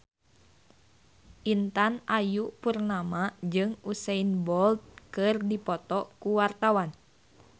Intan Ayu Purnama jeung Usain Bolt keur dipoto ku wartawan